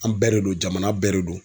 An bɛɛ de don jamana bɛɛ de don.